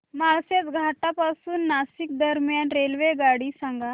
माळशेज घाटा पासून नाशिक दरम्यान रेल्वेगाडी सांगा